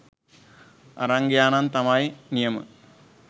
අරන් ගියා නම් තමයි නියම.